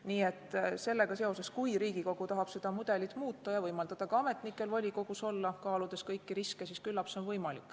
Nii et kui Riigikogu tahab seda mudelit muuta ja võimaldada ka ametnikel volikogus olla, kaaludes kõiki riske, siis küllap see on võimalik.